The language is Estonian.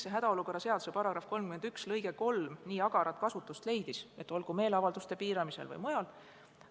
Miks hädaolukorra seaduse § 31 lõige 3 nii agarat kasutust leidis, olgu meeleavalduste piiramisel või mujal?